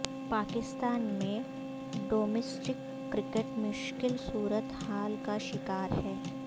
پاکستان میں domestic cricket مشکل صورت حال کا شکار ہے